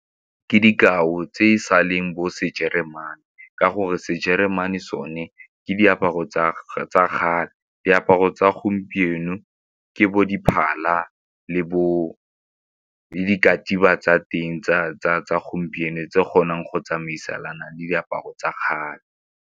Ke dikao tse e sa leng bo sejeremane ka gore sejeremane sone ke diaparo tsa kgale. Diaparo tsa gompieno ke bo diphala le bo tsa teng tsa gompieno tse di kgonang go tsamaisana le diaparo tsa kgale.